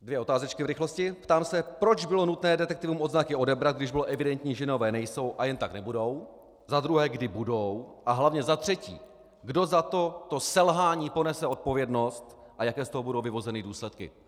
Dvě otázečky v rychlosti: Ptám se, proč bylo nutné detektivům odznaky odebrat, když bylo evidentní, že nové nejsou a jen tak nebudou, za druhé, kdy budou, a hlavně za třetí, kdo za toto selhání ponese odpovědnost a jaké z toho budou vyvozeny důsledky.